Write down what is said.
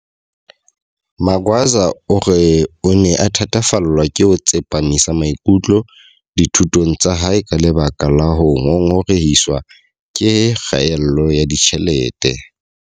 Magwaza o re o ne a thatafallwa ke ho tsepamisa maikutlo dithu tong tsa hae ka lebaka la ho ngongorehiswa ke kgaello ya ditjhelete.